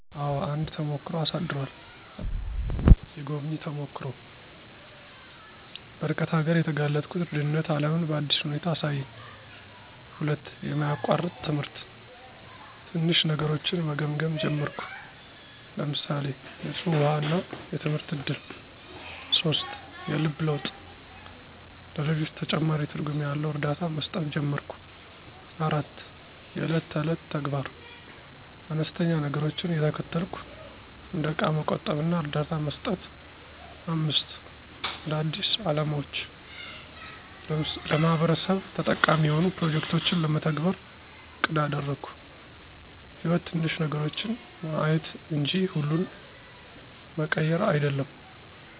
**አዎ፣ አንድ ተሞክሮ አሳድሯል!** 1. **የጎብኚ ተሞክሮ** - በርቀት አገር የተጋለጥኩት ድህነት ዓለምን በአዲስ ሁኔታ አሳየኝ። 2. **የማያቋርጥ ትምህርት** - ትንሽ ነገሮችን መገምገም ጀመርኩ (ለምሳሌ፣ ንፁህ ውሃ እና የትምህርት እድል)። 3. **የልብ ለውጥ** - ለሌሎች ተጨማሪ ትርጉም ያለው እርዳታ መስጠት ጀመርኩ። 4. **የዕለት ተዕለት ተግባር** - አነስተኛ ነገሮችን እየተከተልኩ (እንደ እቃ መቆጠብ እና እርዳታ መስጠት)። 5. **አዳዲስ አላማዎች** - ለማህበረሰብ ተጠቃሚ የሆኑ ፕሮጀክቶችን ለመተግበር አቅድ አደረግኩ። > _"ሕይወት ትንሽ ነገሮችን ማየት እንጂ ሁሉን መቀየር አይደለም!"_